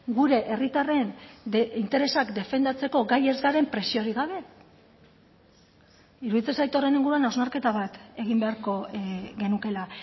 gure herritarren interesak defendatzeko gai ez garen presiorik gabe iruditzen zait horren inguruan hausnarketa bat egin beharko genukeela